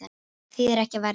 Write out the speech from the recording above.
Þýðir ekki að verjast